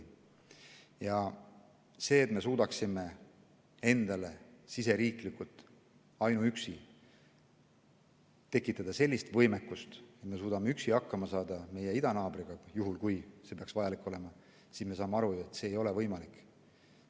Me saame aru, et see, et me suudaksime endale ainuüksi siseriiklikult tekitada sellist võimekust, et me suudame üksi meie idanaabriga hakkama saada juhul, kui see peaks vajalik olema, ei ole võimalik.